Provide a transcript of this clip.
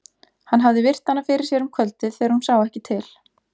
Hann hafði virt hana fyrir sér um kvöldið þegar hún sá ekki til.